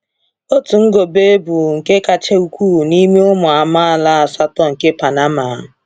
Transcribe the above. Òtù Ngobe bụ nke kacha ukwuu n’ime ụmụ amaala asatọ nke Panama.